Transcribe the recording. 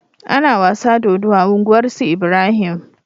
Ana wasa dodo a unguwar su Ibrahim